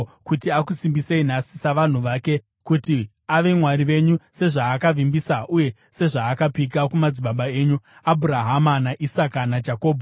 kuti akusimbisei nhasi savanhu vake, kuti ave Mwari wenyu sezvaakavimbisa uye sezvaakapika kumadzibaba enyu, Abhurahama, naIsaka, naJakobho.